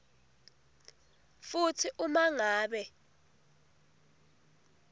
futsi uma ngabe